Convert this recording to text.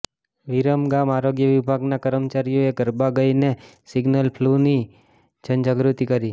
વિરમગામ આરોગ્ય વિભાગના કર્મચારીઓએ ગરબા ગાઇને સિઝનલ ફ્લુની જનજાગૃતિ કરી